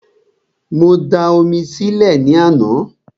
Mo da omi sí ilẹ̀ ní àná